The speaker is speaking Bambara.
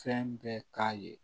Fɛn bɛɛ k'a ye